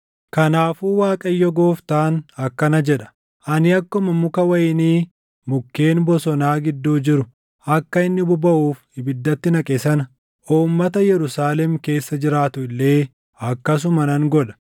“Kanaafuu Waaqayyo Gooftaan akkana jedha: Ani akkuma muka wayinii mukkeen bosonaa gidduu jiru akka inni bobaʼuuf ibiddatti naqe sana, uummata Yerusaalem keessa jiraatu illee akkasuma nan godha.